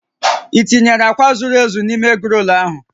I tinyere akwa zuru ezu n'ime egrol ahụ?